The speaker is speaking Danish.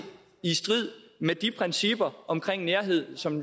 i strid med de principper om nærhed som